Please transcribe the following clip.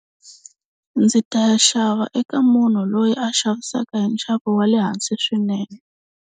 Ndzi ta ya xava eka munhu loyi a xavisaka hi nxavo wa le hansi swinene.